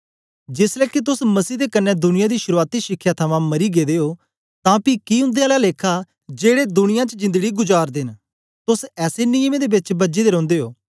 जेसलै के तोस मसीह दे कन्ने दुनिया दी शुरूआती शिखया थमां मरी गेदे ओ तां पी की उन्दे आला लेखा जेड़े दुनिया च जिंदड़ी जुगार्दे न तोस ऐसे नियमें दे बेच बझे दे रौंदे ओ